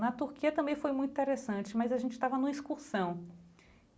Na Turquia também foi muito interessante, mas a gente estava na excursão.